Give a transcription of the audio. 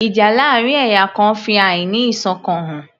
Ìjà láàrin ẹ̀yà kan fi àí ní ìṣọ̀kan hàn